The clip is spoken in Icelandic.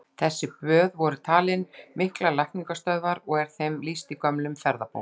Þessi böð voru talin miklar lækningastöðvar, og er þeim lýst í gömlum ferðabókum.